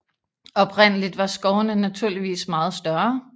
Oprindeligt var skovene naturligvis meget større